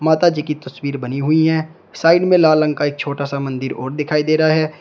माता जी की तस्वीर बनी हुए है साइड में लाल रंग का एक छोटा सा मंदिर और दिखाई दे रहा है।